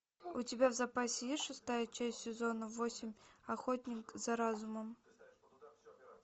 у тебя в запасе есть шестая часть сезона восемь охотник за разумом